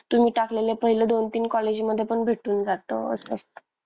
तुम्ही टाकलेल्या पहिलं दोन तीन college मध्ये पण भेटून जात असं.